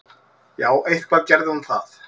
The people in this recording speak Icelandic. Já, eitthvað gerði hún það.